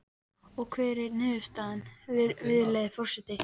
Og hver er niðurstaðan, virðulegi forseti?